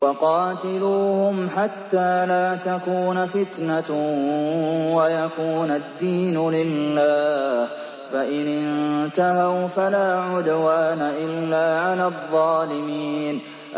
وَقَاتِلُوهُمْ حَتَّىٰ لَا تَكُونَ فِتْنَةٌ وَيَكُونَ الدِّينُ لِلَّهِ ۖ فَإِنِ انتَهَوْا فَلَا عُدْوَانَ إِلَّا عَلَى الظَّالِمِينَ